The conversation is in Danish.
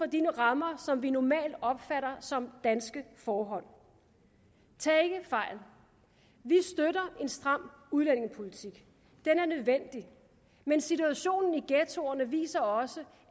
de rammer som vi normalt opfatter som danske forhold tag ikke fejl vi støtter en stram udlændingepolitik den er nødvendig men situationen i ghettoerne viser også